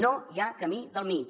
no hi ha camí del mig